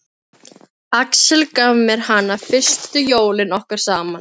Axel gaf mér hana fyrstu jólin okkar saman.